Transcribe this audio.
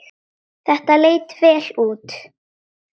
Þetta leit vel út.